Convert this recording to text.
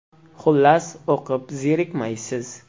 Xullas, o‘qib zerikmaysiz.